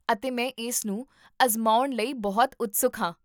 ਅਤੇ ਮੈਂ ਇਸਨੂੰ ਅਜ਼ਮਾਉਣ ਲਈ ਬਹੁਤ ਉਤਸੁਕ ਹਾਂ